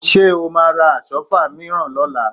Ṣé o máa ra Àsọ́fà mìíràn lọ́la?